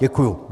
Děkuji.